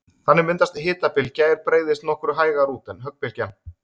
Þannig myndast hitabylgja er breiðist nokkru hægar út en höggbylgjan.